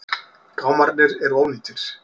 Gámarnir eru ónýtir.